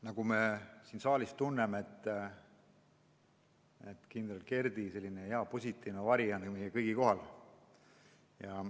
Nagu me siin saalis tunneme, kindral Kerdi positiivne vari on meie kõigi kohal.